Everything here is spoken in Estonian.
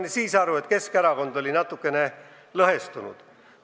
Ma sain aru, et Keskerakond oli siis natukene lõhestunud.